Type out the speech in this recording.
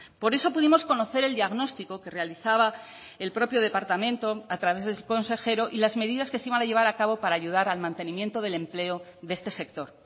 por eso pudimos conocer el diagnóstico que realizaba el propio departamento a través de su consejero y las medidas que se iban a llevar a cabo para ayudar al mantenimiento del empleo de este sector